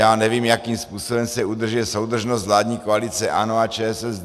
Já nevím, jakým způsobem se udržuje soudržnost vládní koalice ANO a ČSSD.